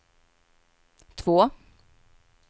två